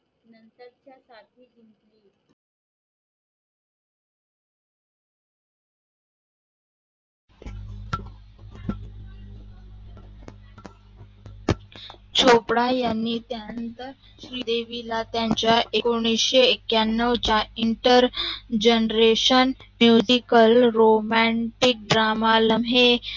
चोपडा या नंतर त्यांनी श्रीदेवीला एकोणविशे एकयानेऊ च्या Inter generation musical romantic drama लम्हे